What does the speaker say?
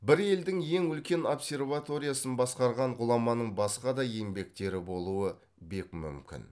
бір елдің ең үлкен обсерваториясын басқарған ғұламаның басқа да еңбектері болуы бек мүмкін